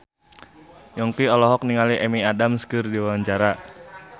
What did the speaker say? Yongki olohok ningali Amy Adams keur diwawancara